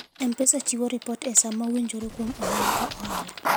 M-Pesa chiwo ripot e sa mowinjore kuom ohala ka ohala.